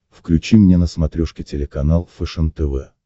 включи мне на смотрешке телеканал фэшен тв